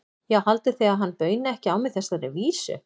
Já, haldið þið að hann bauni ekki á mig þessari vísu?